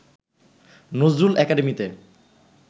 Nazrul একাডেমীতে